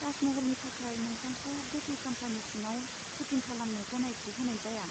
ताज महलनि थाखाय, नोंथांखौ गोथै खाम्फानि सिङाव सुटिं खालामनो गनायथि होनाय जाया।